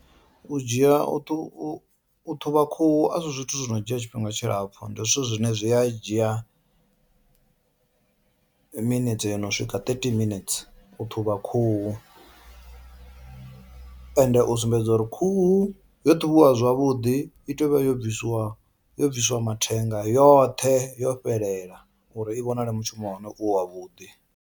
U dzhia u ṱu u ṱhuvha khuhu a si zwithu zwo no dzhia tshifhinga tshilapfhu ndi zwithu zwine zwi a dzhia minethe yo no swika thirty minets u ṱhuvha khuhu ende u sumbedza uri khuhu yo ṱhavhiwa zwavhuḓi i tea uvha yo bvisiwa yo bvisiwa mathenga yoṱhe yo fhelela uri i vhonale mushumo wa hone u wa vhuḓi.